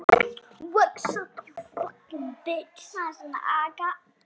Þorði ekki annað.